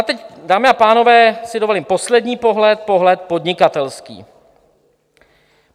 A teď, dámy a pánové, si dovolím poslední pohled, pohled podnikatelský.